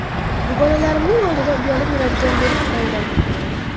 Dugonalarimning oldida uyalib yuradigan bo‘lib qoldim.